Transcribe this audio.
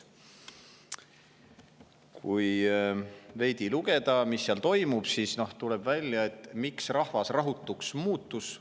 Kui veidi lugeda, mis seal toimub, siis tuleb välja, miks rahvas rahutuks muutus.